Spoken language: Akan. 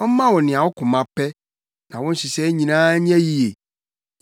Ɔmma wo nea wo koma pɛ, na wo nhyehyɛe nyinaa nyɛ yiye.